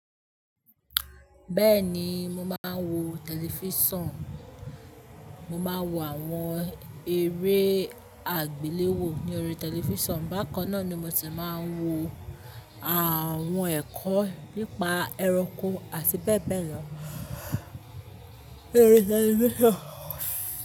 Bẹ́ẹ̀ni mo máa ń wo tẹlifíṣàn, mo máa ń wo àwọn eré àgbéléwò ní orí tẹlifíṣàn, bákan náà ni mo ti máa ń wo àwọn ẹ̀kọ́ nípa ẹranko àti bẹ́ẹ̀ bẹ́ẹ̀ lọ lórí tẹlifíṣàn.